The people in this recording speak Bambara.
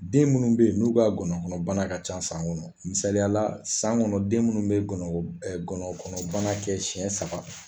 Den minnu bɛ yen n'u ka ngɔnɔnkɔnɔbana ka ca san kɔnɔ misaliyala san kɔnɔ den minnu bɛ ngɔnɔnko ngɔnɔnkɔnɔbana kɛ senɲɛ saba